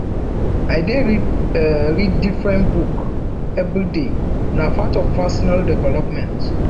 i dey read different book everyday na part of personal development